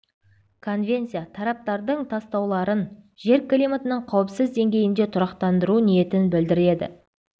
конвенция тараптардың тастауларын жер климатының қауіпсіз деңгейінде тұрақтандыру ниетін білдіреді